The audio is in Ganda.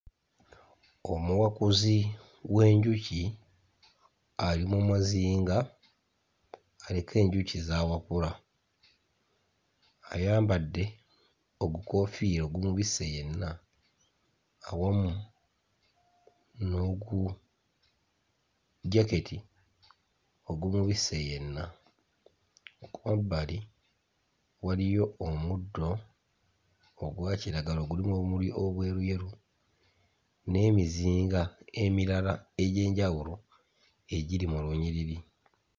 Omuwakuzi w'enjuki ali mu muzinga aliko enjuki z'awakula, ayambadde ogukoofiira ogumubisse yenna awamu n'oku jaketi ogumubisse yenna. Ku mabbali waliyo omuddo ogwa kiragala ogulimu obumuli obweruyeru n'emizinga emirala egy'enjawulo egiri mu lunyiriri.